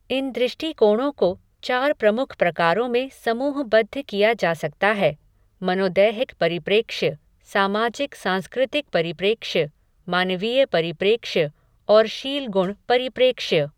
इन दृष्टिकोणों को चार प्रुमख प्रकारों में समूहबद्ध किया जा सकता है मनोदैहिक परिप्रेक्ष्य, सामाजिक सांस्कृतिक परिप्रेक्ष्य, मानवीय परिप्रेक्ष्य और शीलगुण परिप्रेक्ष्य।